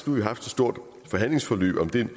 nu haft et stort forhandlingsforløb om det